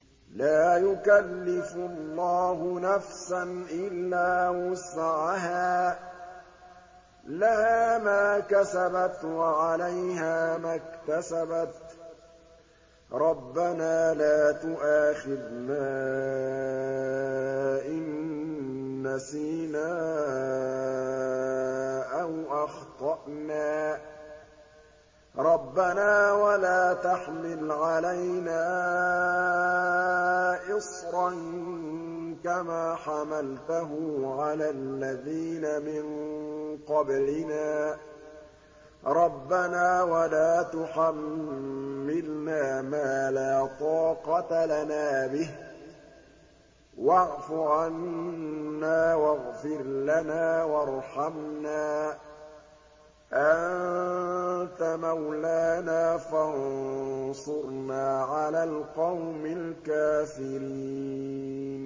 لَا يُكَلِّفُ اللَّهُ نَفْسًا إِلَّا وُسْعَهَا ۚ لَهَا مَا كَسَبَتْ وَعَلَيْهَا مَا اكْتَسَبَتْ ۗ رَبَّنَا لَا تُؤَاخِذْنَا إِن نَّسِينَا أَوْ أَخْطَأْنَا ۚ رَبَّنَا وَلَا تَحْمِلْ عَلَيْنَا إِصْرًا كَمَا حَمَلْتَهُ عَلَى الَّذِينَ مِن قَبْلِنَا ۚ رَبَّنَا وَلَا تُحَمِّلْنَا مَا لَا طَاقَةَ لَنَا بِهِ ۖ وَاعْفُ عَنَّا وَاغْفِرْ لَنَا وَارْحَمْنَا ۚ أَنتَ مَوْلَانَا فَانصُرْنَا عَلَى الْقَوْمِ الْكَافِرِينَ